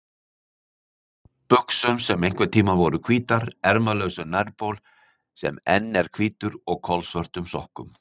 buxum sem einhverntíma voru hvítar, ermalausum nærbol sem enn er hvítur og kolsvörtum sokkum.